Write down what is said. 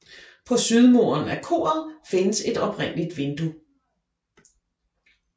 På sydmuren af koret findes et oprindeligt vindue